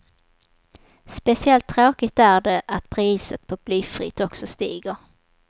Speciellt tråkigt är det att priset på blyfritt också stiger.